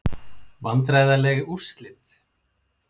Vandræðaleg úrslit?